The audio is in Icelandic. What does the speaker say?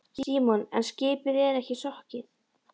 Símon: En skipið er ekki sokkið?